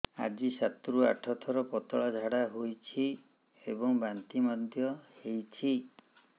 ଆଜି ସାତରୁ ଆଠ ଥର ପତଳା ଝାଡ଼ା ହୋଇଛି ଏବଂ ବାନ୍ତି ମଧ୍ୟ ହେଇଛି